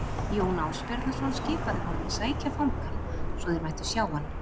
Jón Ásbjarnarson skipaði honum að sækja fangann svo þeir mættu sjá hann.